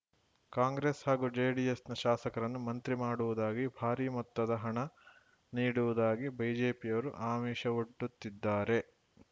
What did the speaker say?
ಕಾಂಗ್ರೆಸ್‌ ಹಾಗೂ ಜೆಡಿಎಸ್‌ನ ಶಾಸಕರನ್ನು ಮಂತ್ರಿ ಮಾಡುವುದಾಗಿ ಭಾರಿ ಮೊತ್ತದ ಹಣ ನೀಡುವುದಾಗಿ ಬಿಜೆಪಿಯವರು ಆಮಿಷವೊಡ್ಡುತ್ತಿದ್ದಾರೆ